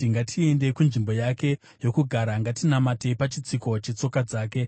“Ngatiendei kunzvimbo yake yokugara; ngatinamatei pachitsiko chetsoka dzake,